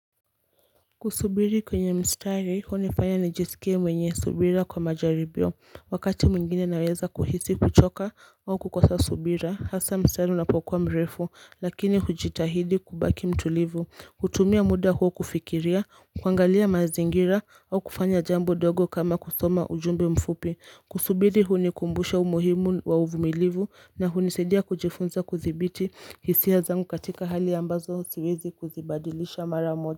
Kusubiri kwenye mstari hunifanya nijisikie mwenye subira kwa majaribio wakati mwingine naweza kuhisi kuchoka au kukosa subira hasa mstari unapokuwa mrefu lakini hujitahidi kubaki mtulivu kutumia muda huo kufikiria kuangalia mazingira au kufanya jambo dogo kama kusoma ujumbe mfupi kusubiri hunikumbusha umuhimu wa uvumilivu na hunisaidia kujifunza kudhibiti hisia zangu katika hali ambazo siwezi kuzibadilisha mara moja.